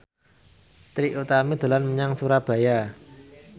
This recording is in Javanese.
Trie Utami dolan menyang Surabaya